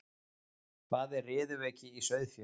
hvað er riðuveiki í sauðfé